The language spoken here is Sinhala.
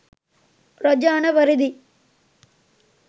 රජ අණ පරිදි